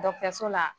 la